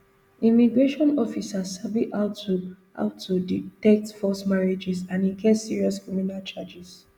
immigration officers sabi how to how to detect false marriages and e get serious criminal charges